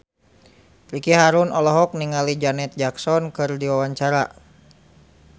Ricky Harun olohok ningali Janet Jackson keur diwawancara